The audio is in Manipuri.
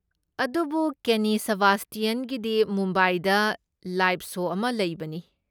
ꯑꯗꯨꯕꯨ ꯀꯦꯟꯅꯤ ꯁꯦꯕꯥꯁꯇꯤꯌꯟꯒꯤꯗꯤ ꯃꯨꯝꯕꯥꯏꯗ ꯂꯥꯏ꯭ꯕ ꯁꯣ ꯑꯃ ꯂꯩꯕꯅꯤ꯫